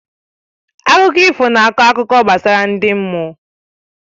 Akụkọ ifo na akọ akụkọ gbasara ndị mmụọ